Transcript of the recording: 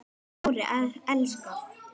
Smári elskar